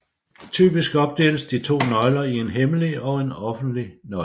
Typisk opdeles de to nøgler i en hemmelig og en offentlig nøgle